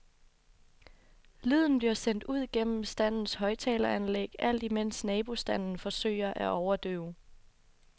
Lyden bliver sendt ud gennem standens højtaleranlæg, alt imens nabostanden forsøger at overdøve.